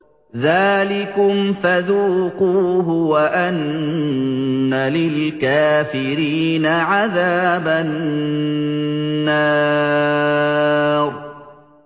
ذَٰلِكُمْ فَذُوقُوهُ وَأَنَّ لِلْكَافِرِينَ عَذَابَ النَّارِ